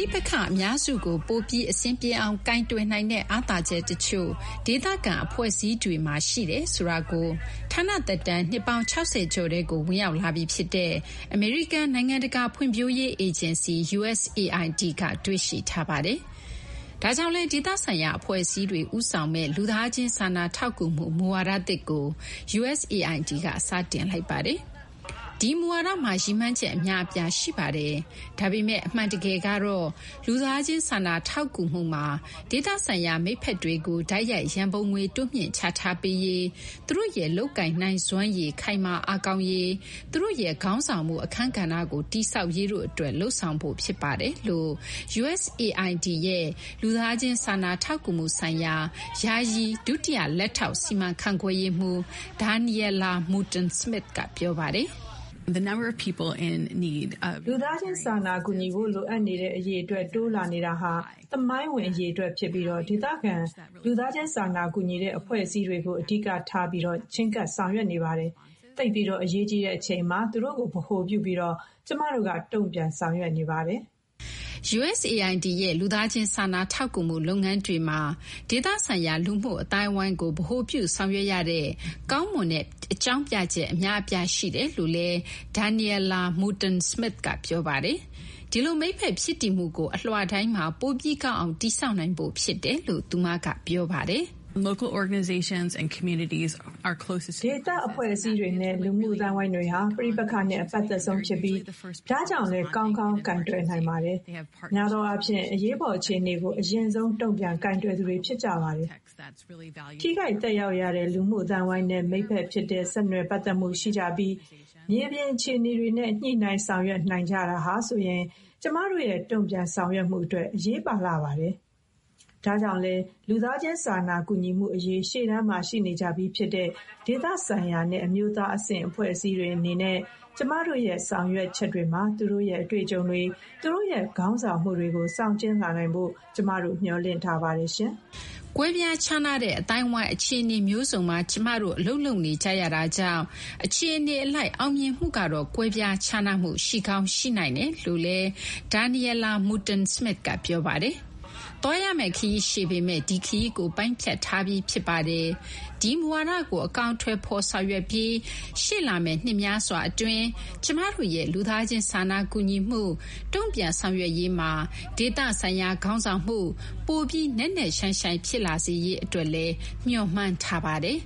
ိပက္ခအများစုကို ပိုပြီး အဆင်ပြေအောင်ကိုင်တွယ်နိုင်တဲ့ အားသာချက်တချို့ ဒေသခံအဖွဲ့အစည်းတွေမှာ ရှိတယ်ဆိုတာကို ဌာနသက်တမ်း နှစ်ပေါင်း ၆၀ ကျော်ထဲကို ဝင်ရောက်လာပြီဖြစ်တဲ့ အမေရိကန် နိုင်ငံတကာဖွံ့ဖြိုးရေးအေဂျင်စီUSAID က တွေ့ရှိထားပါတယ်။ ဒါကြောင့်လည်း ဒေသဆိုင်ရာအဖွဲ့အစည်းတွေ ဦးဆောင်မယ့် လူသားချင်းစာနာထောက်ကူမှု မူဝါဒအသစ်ကို USAID က စတင်လိုက်ပါတယ်။ ဒီမူဝါဒမှာ ရည်မှန်းချက် အများအပြားရှိပါတယ်။ဒါပေမဲ့ အမှန်တကယ်ကတော့ လူသားချင်း စာနာထောက်ကူမှုမှာ ဒေသဆိုင်ရာ မိတ်ဖက်တွေကို တိုက်ရိုက် ရန်ပုံငွေတိုးမြှင့်ချထားပေးရေး၊ သူတို့ရဲ့ လုပ်ကိုင်နိုင်စွမ်းရည် ခိုင်မာအားကောင်းရေး၊ သူတို့ရဲ့ ခေါင်းဆောင်မှု အခန်းကဏ္ဍကိုတည်ဆောက်ရေးတို့အတွက် လုပ်ဆောင်ဖို့ ဖြစ်ပါတယ်လို့ USAID ရဲ့ လူသားချင်း စာနာထောက်ကူမှုဆိုင်ရာ ယာယီ ဒုလက်ထောက် စီမံခန့်ခွဲရေးမှူး Danielle Mutone-Smith က ပြောပါတယ်။ “လူသားချင်း စာနာကူညီဖို့ လိုအပ်နေသူ အရေအတွက် တိုးလာနေတာဟာ သမိုင်းဝင် အရေအတွက် ဖြစ်ပြီး ဒေသခံလူသားချင်း စာနာကူညီတဲ့ အဖွဲ့အစည်းတွေကို အဓိကထား ချဉ်းကပ် ဆောင်ရွက်နေပါတယ်။ သိပ်ပြီး အရေးကြီးတဲ့အချိန်မှာ သူတို့ကို ဗဟိုပြုပြီး ကျမတို့ တုံ့ပြန်ဆောင်ရွက်နေပါတယ်။” USAID ရဲ့ လူသားချင်း စာနာထောက်ကူမှုလုပ်ငန်းတွေမှာ ဒေသဆိုင်ရာ လူမှုအသိုင်းအဝိုင်းကို ဗဟိုပြုဆောင်ရွက်ရတဲ့ကောင်းမွန်တဲ့ အကြောင်းပြချက် အများအပြားရှိတယ်လို့လည်း Danielle Mutone-Smith က ပြောပါတယ်။ ဒီလို မိတ်ဖက်ဖြစ်တည်မှုကို အလွှာတိုင်းမှာ ပိုပြီး ကောင်းအောင် တည်ဆောက်နိုင်ဖို့ ဖြစ်တယ်လို့ သူမက ပြောပါတယ်။ “ဒေသအဖွဲ့အစည်းတွေနဲ့ လူမှုအသိုင်းအဝိုင်းတွေဟာ ပဋိပက္ခနဲ့ အပတ်သက်ဆုံးဖြစ်ပြီး ဒါကြောင့်လည်းကောင်းကောင်းကိုင်တွယ်နိုင်ပါတယ်။ များသောအားဖြင့် အရေးပေါ် အခြေအနေကို အရင်ဆုံး တုံ့ပြန်ကိုင်တွယ်သူတွေဖြစ်ကြပါတယ်။ ထိခိုက်သက်ရောက်ရတဲ့ လူမှု အသိုင်းအဝိုင်းနဲ့ မိတ်ဖက်ဖြစ်တဲ့ ဆက်နွယ်ပတ်သက်မှု ရှိကြပြီး မြေပြင်အခြေအနေတွေနဲ့ ညှိနှိုင်း ဆောင်ရွက်နိုင်ကြတာဟာဆိုရင် ကျမတို့ရဲ့ တုံ့ပြန်ဆောင်ရွက်မှု အတွက် အရေးပါလှပါတယ်။ ဒါကြောင့်လည်း လူသားချင်း စာနာကူညီမှုအရေး ရှေ့တန်းမှာရှိနေကြပြီးဖြစ်တဲ့ ဒေသ ဆိုင်ရာနဲ့ အမျိုးသားအဆင့် အဖွဲ့အစည်းတွေအနေနဲ့ ကျမတို့ရဲ့ ဆောင်ရွက်ချက်တွေမှာ သူတို့ရဲ့ အတွေ့အကြုံတွေ၊ သူတို့ရဲ့ ခေါင်းဆောင်မှုတွေကို ဆောင်ကျဉ်းလာနိုင်ဖို့ ကျမတို့ မျှော်လင့်ထားပါတယ်။” ကွဲပြားခြားနားတဲ့အသိုင်းအဝိုင်း အခြေအနေမျိုးစုံမှာ ကျမတို့ အလုပ်လုပ်နေကြတာကြောင့် အခြေအနေအလိုက်အောင်မြင်မှုကတော့ ကွဲပြား ခြားနားမှု ရှိကောင်း ရှိနိုင်တယ်လို့လည်း Danielle Mutone-Smith က ပြောပါတယ်။ သွားရမယ့်ခရီးရှည်ပေမဲ့ ဒီခရီးကို ပိုင်းဖြတ်ထားပြီး ဖြစ်ပါတယ်။ ဒီမူဝါဒကို အကောင်အထည်ဖော်ဆောင်ရွက်ပြီး ရှေ့လာမယ့်နှစ်များစွာအတွင်း ကျမတို့ရဲ့ လူသားချင်း စာနာကူညီမှု တုံ့ပြန်ဆောင်ရွက်ရေးမှာ ဒေသဆိုင်ရာ ခေါင်းဆောင်မှု ပိုပြီး နက်နက်ရှိုင်းရှိုင်း ဖြစ်လာစေရေး အတွက်လည်း မျှော်မှန်းထားပါတယ်